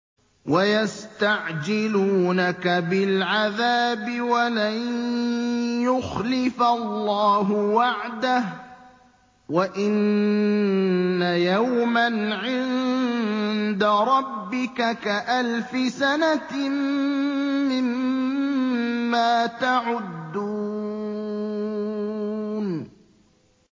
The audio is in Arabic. وَيَسْتَعْجِلُونَكَ بِالْعَذَابِ وَلَن يُخْلِفَ اللَّهُ وَعْدَهُ ۚ وَإِنَّ يَوْمًا عِندَ رَبِّكَ كَأَلْفِ سَنَةٍ مِّمَّا تَعُدُّونَ